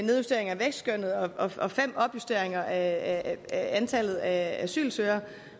nedjusteringer af vækstskønnet og fem opjusteringer af antallet af asylsøgere